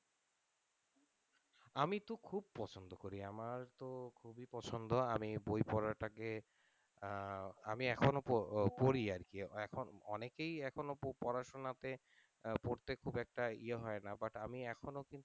আমি তো খুব পছন্দ করি আমার তো খুবই পছন্দ আমি বই পড়াটা কে আহ আমি এখনও পড়ি আরকি এখন অনেকেই এখনও পড়াশোনাতে আহ পড়তে খুব একটা ইয়ে হয়না but আমি এখনও কিন্তু,